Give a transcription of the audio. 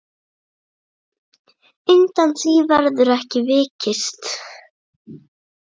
Undan því verður ekki vikist.